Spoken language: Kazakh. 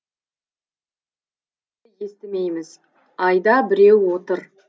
бірақ бір бірімізді естімейміз айда біреу отыр